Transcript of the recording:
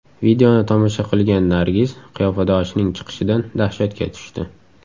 Videoni tomosha qilgan Nargiz qiyofadoshining chiqishidan dahshatga tushdi.